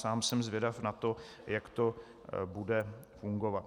Sám jsem zvědav na to, jak to bude fungovat.